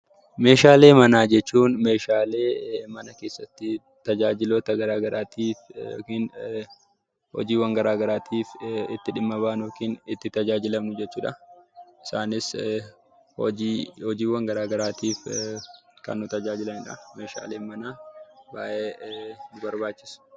Meeshaalee manaa jechuun meeshaalee mana keessatti tajaajiloota garaa garaatiin yookiin hojiiwwan garaa garaatiif itti dhimma baanu yookiin itti tajaajilamnu jechuudha. Isaanis hojiiwwan garaa garaatiif kan nu tajaajilanidha. Meeshaaleen manaa baay'ee nu barbaachisu.